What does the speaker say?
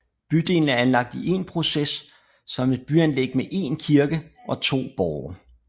Bydelen er anlagt i én proces som et byanlæg med én kirke og to borge